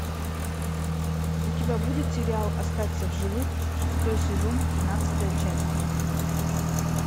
у тебя будет сериал остаться в живых шестой сезон тринадцатая часть